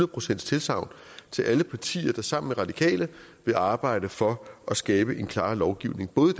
procents tilsagn til alle partier der sammen med radikale vil arbejde for at skabe en klarere lovgivning både